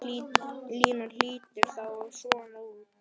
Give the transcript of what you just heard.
Línan lítur þá svona út